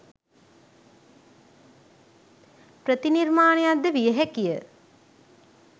ප්‍රති නිර්මාණයක්ද විය හැකිය